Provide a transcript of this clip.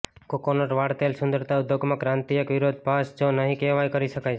coconut વાળ તેલ સુંદરતા ઉદ્યોગમાં ક્રાંતિ એક વિરોધાભાસ જો નહિં કહેવાય કરી શકાય છે